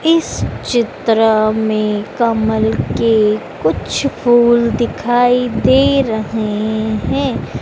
इस चित्र में कमल के कुछ फूल दिखाई दे रहें हैं।